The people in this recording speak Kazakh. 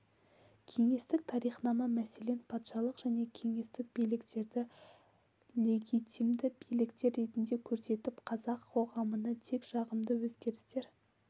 кеңестік тарихнама мәселен патшалық және кеңестік биліктерді легитимді биліктер ретінде көрсетіп қазақ қоғамына тек жағымды өзгерістер